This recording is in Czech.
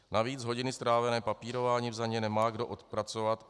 Navíc hodiny strávené papírováním za ně nemá kdo odpracovat.